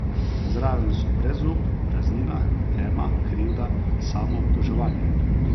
Zraven so brezup, praznina, tema, krivda, samoobtoževanje ...